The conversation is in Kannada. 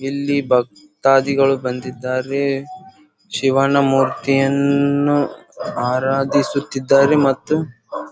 ಇಲ್ಲಿ ಭಕ್ತಾದಿಗಳು ಬಂದಿದ್ದಾರೆ ಶಿವಣ್ಣ ಮೂರ್ತಿಯನ್ನು ಆರಾಧಿಸುತ್ತಿದ್ದಾರೆ ಮತ್ತು--